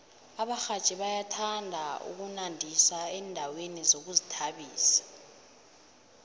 abarhatjhi bayathanda ukunandisa endaweni zokuzithabisa